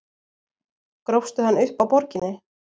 Grófstu hann upp á Borginni?